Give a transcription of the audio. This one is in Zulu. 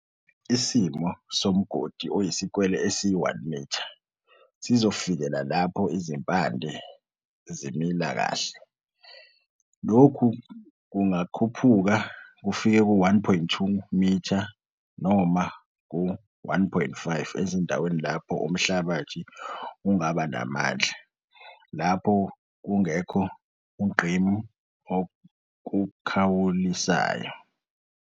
Isimo somgodi oyisikwele esi-1 mitha sizofikela lapho izimpande zimila kahle, lokhu kungakhuphuka kufike ku-1,2 m noma ku-1,5 ezindaweni lapho umhlabathi ungabanamandla, omponyayo, lapho kungekho ungqimbi okukhawulisasyo.